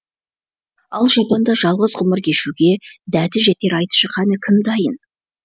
ал жапанда жалғыз ғұмыр кешуге дәті жетер айтшы қане кім дайын